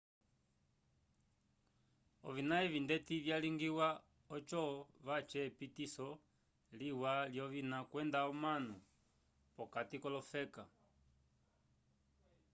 ovina evi ndeti vyalingiwa oco vace epitiso liwa lyovina kwenda omanu p'okati k'olofeka